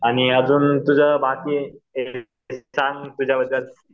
आणि अजून तुझं बाकी